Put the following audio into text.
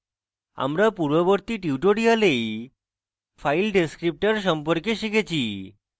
আমরা পূর্ববর্তী tutorial file descriptors সম্পর্কে শিখেছি